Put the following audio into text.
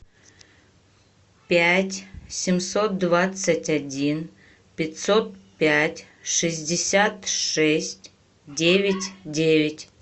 пять семьсот двадцать один пятьсот пять шестьдесят шесть девять девять